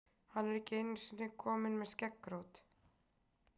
Hann er ekki einu sinni kominn með skeggrót!